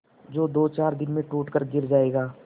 जो दोचार दिन में टूट कर गिर जाएगा